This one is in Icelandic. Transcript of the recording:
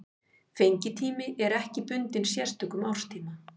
Fengitími er ekki bundinn sérstökum árstíma.